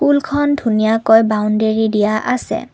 খন ধুনীয়াকৈ বাউণ্ডৰি দিয়া আছে।